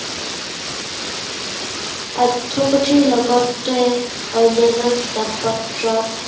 পাঠ্য়পুথিৰ লগতে, অন্য়ান্য় কিতাপ-পত্ৰ